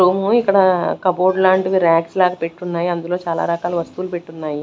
Room ఇక్కడ cupboard లాంటివి racks లాగా పెట్టున్నాయి అందులో చాలా రకాల వస్తువులు పెట్టున్నాయి.